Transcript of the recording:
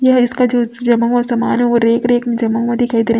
जमा हुआ दिखाई दे रहा है।